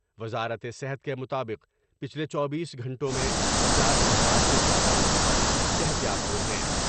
وزارت صحت کے مطابق پچھلے چوبیس گھنٹوں میں پنچاس ہزار سے زیادہ افراد صحت یاب ہوۓ ہیں ۔